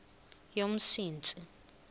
yomsintsi